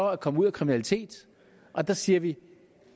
at komme ud af kriminalitet og der siger vi